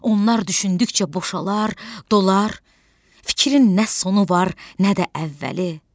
Onlar düşündükcə boşalar, dolar, fikrin nə sonu var, nə də əvvəli.